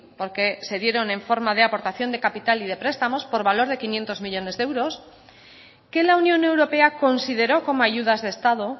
porque se dieron en forma de aportación de capital y de prestamos por valor de quinientos millónes de euros que la unión europea consideró como ayudas de estado